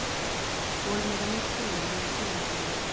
Kolniðamyrkur á miðjum sumardegi